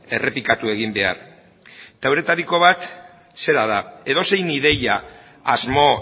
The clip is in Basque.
errepikatu egin behar eta euretariko bat zera da edozein ideia asmo